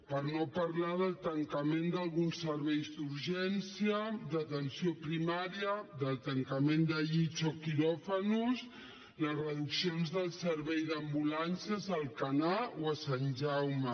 per no parlar del tancament d’alguns serveis d’urgència d’atenció primària del tancament de llits o quiròfans les reduccions dels serveis d’ambulàncies a alcanar o a sant jaume